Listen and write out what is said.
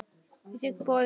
Ég þigg boðið.